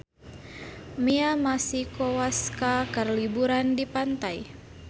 Mia Masikowska keur liburan di pantai